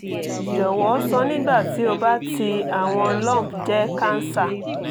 jọwọ sọ nigbati ti o ba ti awọn lump jẹ cancer